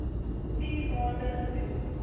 vier maande gedoen